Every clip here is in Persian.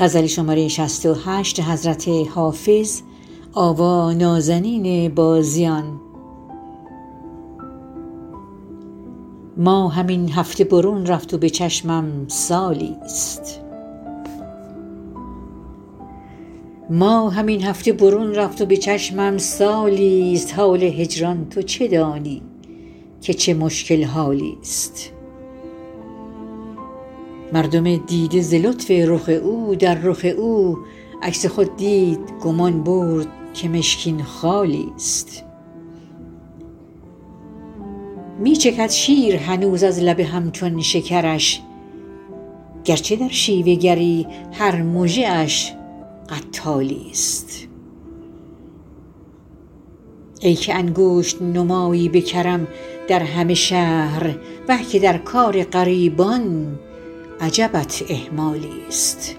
ماهم این هفته برون رفت و به چشمم سالی ست حال هجران تو چه دانی که چه مشکل حالی ست مردم دیده ز لطف رخ او در رخ او عکس خود دید گمان برد که مشکین خالی ست می چکد شیر هنوز از لب هم چون شکرش گر چه در شیوه گری هر مژه اش قتالی ست ای که انگشت نمایی به کرم در همه شهر وه که در کار غریبان عجبت اهمالی ست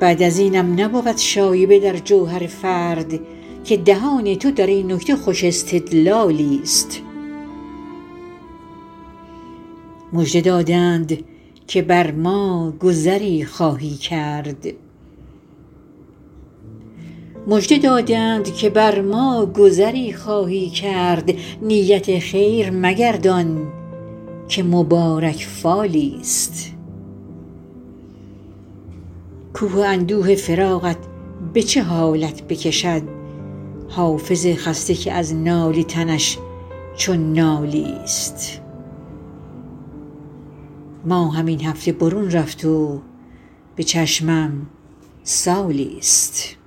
بعد از اینم نبود شایبه در جوهر فرد که دهان تو در این نکته خوش استدلالی ست مژده دادند که بر ما گذری خواهی کرد نیت خیر مگردان که مبارک فالی ست کوه اندوه فراقت به چه حالت بکشد حافظ خسته که از ناله تنش چون نالی ست